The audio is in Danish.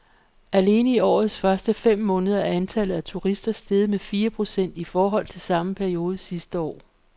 Alene i årets første fem måneder er antallet af turister steget med fire procent i forhold til samme periode sidste år.